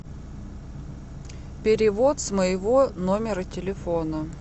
перевод с моего номера телефона